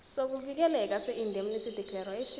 sokuvikeleka seindemnity declaration